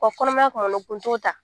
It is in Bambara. Kɔnɔmaya kɔrɔlen o kun t'o ta